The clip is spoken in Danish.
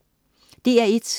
DR1: